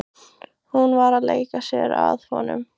Var hún að leika sér að honum?